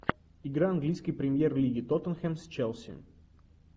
игра английской премьер лиги тоттенхэм с челси